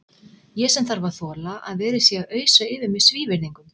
Ég sem þarf að þola að verið sé að ausa yfir mig svívirðingum.